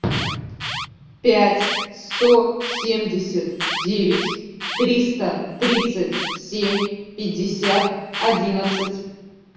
пять сто семьдесят девять триста тридцать семь пятьдесят одиннадцать